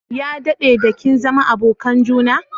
Ya dadde da kin zama abokan juna?